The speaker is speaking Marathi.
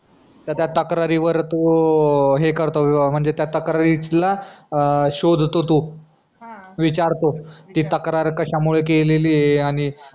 तर त्या तक्रारींवर तो हे करतो हे करतो म्हणजे त्या तक्रारीला शोधतो तो हा विचारतो ती तक्रार कशा मुले केलेली आणि